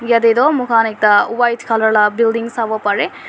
yate toh moikhan ekta white colour laga building sabo pari.